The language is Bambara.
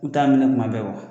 U t'a minɛ kuma bɛ